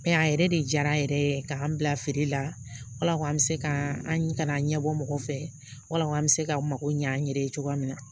a yɛrɛ de jara a yɛrɛ ye k'an bila feere la an bɛ se ka an kana ɲɛbɔ mɔgɔ fɛ wala an bɛ se k'an mago ɲ'an yɛrɛ ye cogoya min na